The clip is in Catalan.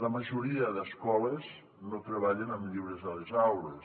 la majoria d’escoles no treballen amb llibres a les aules